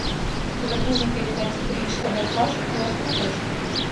загрузи передачу бридж тв классик на смотрешке